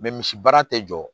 misi baara tɛ jɔ